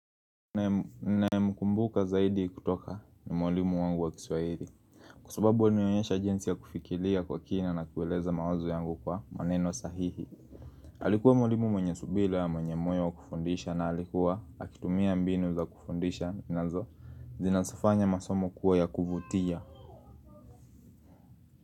Ninae mkumbuka zaidi kutoka ni mwalimu wangu wa kiswahili kusababu wanionyesha jinsi ya kufikiria kwa kina na kueleza mawazo yangu kwa maneno sahihi Alikuwa mwalimu mwenye subira, mwenye moyo wa kufundisha na alikuwa akitumia mbinu za kufundisha, nazo zinafanya masomo kuwa ya kuvutia.